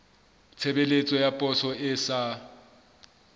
tshebeletso ya poso e sa